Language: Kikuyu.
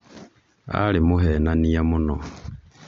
arĩ mũhenania mũno